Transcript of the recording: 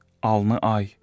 Alnı ay.